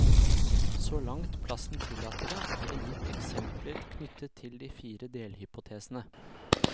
Så langt plassen tillater det er det gitt eksempler knyttet til de fire delhypotesene.